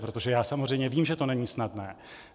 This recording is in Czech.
Protože já samozřejmě vím, že to není snadné.